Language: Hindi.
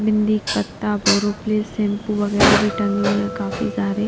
बिंदी पत्ता बोरो प्लेस शैंपू वगैरह भी टंगे हुए हैं काफी सारे।